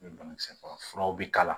Ni banakisɛ faga furaw bi k'a la